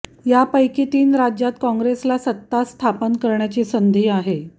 यापैकी तीन राज्यांत काँग्रेसला सत्ता स्थापन करण्याची संधी आहे